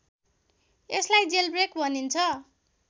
यसलाई जेलब्रेक भनिन्छ